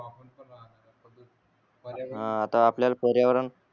हा आता आपल्याला पर्यावरण